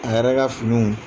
A yɛrɛ ka finiw